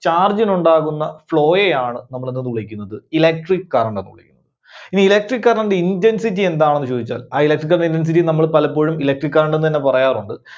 charge ന് ഉണ്ടാകുന്ന flow യെ ആണ് നമ്മള് എന്തെന്ന് വിളിക്കുന്നത്, electric current ന്ന് വിളിക്കുന്നത്. ഇനി Electric current ന്റെ intensity എന്താണെന്ന് ചോദിച്ചാൽ ആ electrical intensity യെ നമ്മള് പലപ്പോഴും electric current എന്നുതന്നെ പറയാറുണ്ട്.